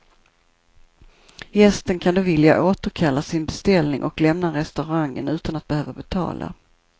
Gästen kan då vilja återkalla sin beställning och lämna restaurangen utan att behöva betala.